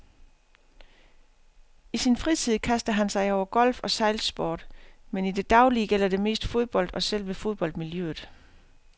I sin fritid kaster han sig over golf og sejlsport, men i det daglige gælder det mest fodbold og selve fodboldmiljøet.